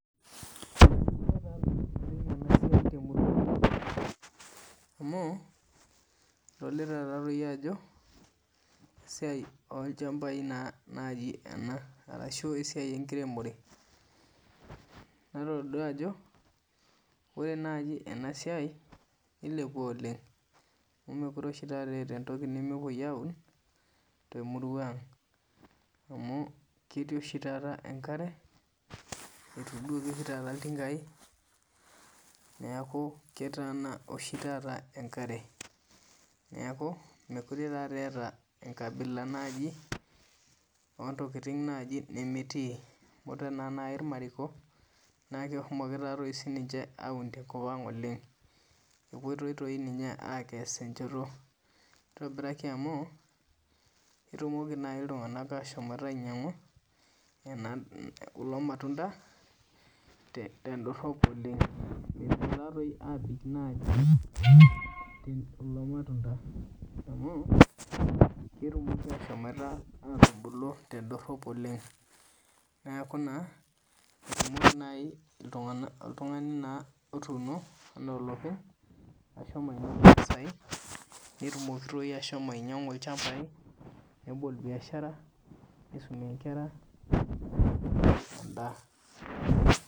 Ore enasiai naa enetipat oleng temurua ang nadolita Ajo esiai olchambai ashu enkiremore natodua Ajo ore enasiai nilepua oleng amu mekure etaa entoki nemepuoi aun temurua ang amu ketii oshi taata enkare etuduoki oshi taa iltingai neeku etatana enkare neeku meekure etaa enkabila naaji oo ntokitin naaji nemetii amu oree naa irmariko nehomoki aun tenkop ang oleng epuoitoi doi ninye akes enchoto netumoki amu kepuo naaji iltung'ana ashom ainyiang'u kulo matunda tedorop oleng mepuo naaji abik oleng kulo matunda amu ketumoki ashomatubulu tedorop oleng neeku naa ore too oltung'ani naaji otuno ena olopeny netumoki ashom ainyiang'u ilchambai nebolo biashara nisumie Nkera